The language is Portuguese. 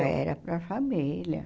Ah, era para a família.